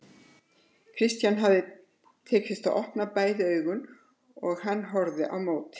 Christian hafði tekist að opna bæði augun og hann horfði á móti.